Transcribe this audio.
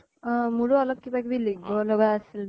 মোৰো অলপ কিবা কিবি লিখিব লগা আছিল যে।